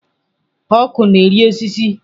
Ọkụ na-eri osisi.